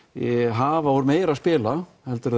hafa úr meiru að spila heldur en